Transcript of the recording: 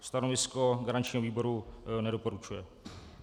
Stanovisko garančního výboru: nedoporučuje.